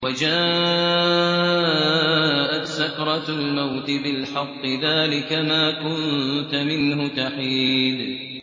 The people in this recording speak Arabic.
وَجَاءَتْ سَكْرَةُ الْمَوْتِ بِالْحَقِّ ۖ ذَٰلِكَ مَا كُنتَ مِنْهُ تَحِيدُ